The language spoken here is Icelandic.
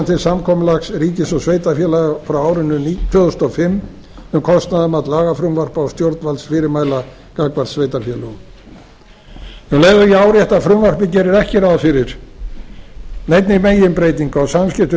til samkomulags ríkis og sveitarfélaga frá árinu tvö þúsund og fimm um kostnaðarmat lagafrumvarpa og stjórnvaldsfyrirmæla gagnvart sveitarfélögum um leið og ég árétta að frumvarpið gerir ekki ráð fyrir neinni meginbreytingu á samskiptum